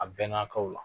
A bɛnna k'aw la